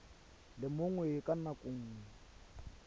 le mongwe ka nako nngwe